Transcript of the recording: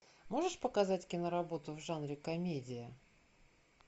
можешь показать киноработу в жанре комедия